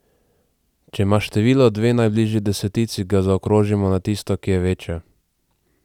Če ima število dve najbližji desetici, ga zaokrožimo na tisto, ki je večja.